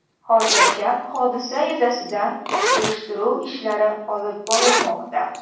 Hozirda hodisa yuzasidan surishtiruv ishlari olib borilmoqda.